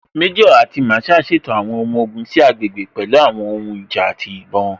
Méjò àti Masaa ṣètò àwọn ọmọ ogun sí àgbègbè pẹ̀lú àwọn ohun ìjà àti ìbọn.